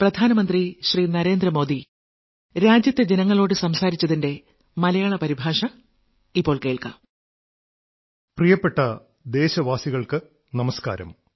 പ്രിയപ്പെട്ട ദേശവാസികൾക്കു നമസ്കാരം